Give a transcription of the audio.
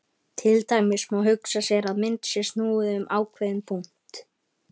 Til dæmis má hugsa sér að mynd sé snúið um ákveðinn punkt.